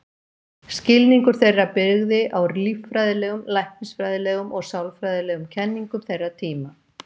Skilningur þeirra byggði á líffræðilegum, læknisfræðilegum og sálfræðilegum kenningum þeirra tíma.